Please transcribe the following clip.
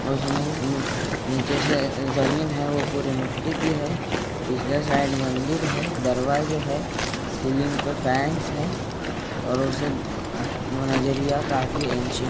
उसमे नीचे से जमीन है वह पूरी मिट्टी की हैपिछले साइड मंदिर हैदरवाजे है सीलिंग पर फैंस है और उसे नजरिया काफी इन --